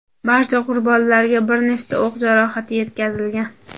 Barcha qurbonlarga bir nechta o‘q jarohati yetkazilgan.